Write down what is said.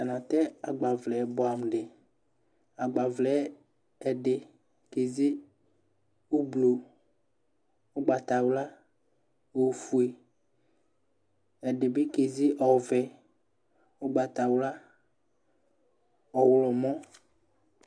Atani atɛ agbavlɛ buɛ amu di agbavlɛ ɛdi keze ublu ugbatawla ofue ɛdibi keze ɔvɛ ugbatawla ɔɣlomɔ